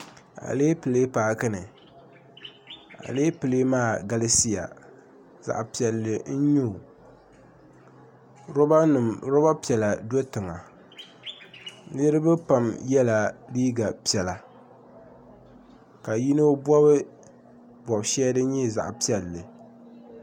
Alepili paaki ni alepili maa galisiya zaɣ' piɛlli n-nyɛ o lɔbanima lɔba piɛla do tiŋa niriba pam yɛla liiga piɛla ka yino bɔbi bɔb' shɛli din nyɛ zaɣ' piɛlli